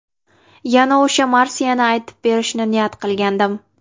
Yana o‘sha marsiyani aytib berishni niyat qilgandim.